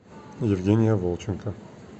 евгения волченко